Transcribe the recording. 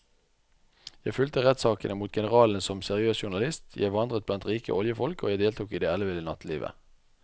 Jeg fulgte rettssakene mot generalene som seriøs journalist, jeg vandret blant rike oljefolk og jeg deltok i det elleville nattelivet.